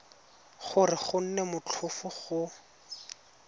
gore go nne motlhofo go